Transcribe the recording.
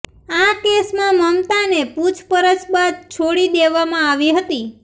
આ કેસમાં મમતાને પૂછપરછ બાદ છોડી દેવામાં આવી હતી